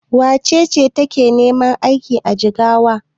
Wace ce take neman aiki a Jigawa?